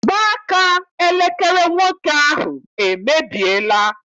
Mgbaaka elekere nwoke ahụ emebiela.